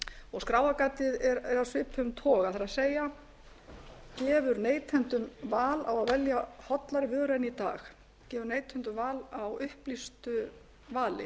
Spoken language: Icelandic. og skráargatið er af svipuðum toga það er gefur neytendum val á að velja hollari vöru en í dag gefur neytendum val á upplýstu vali